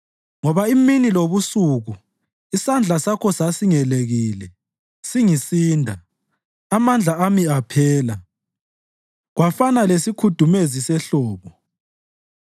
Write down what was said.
Ngoba imini lobusuku isandla Sakho sasingelekile, singisinda; amandla ami aphela kwafana lesikhudumezi sehlobo.